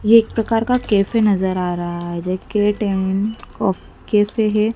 ये एक प्रकार का कैफे नजर आ रहा है कैफे हैं।